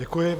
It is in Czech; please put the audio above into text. Děkuji.